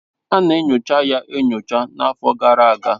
Ana enyocha ya enyo n'afọ gara aga